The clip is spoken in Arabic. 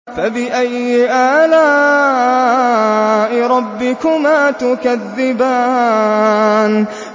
فَبِأَيِّ آلَاءِ رَبِّكُمَا تُكَذِّبَانِ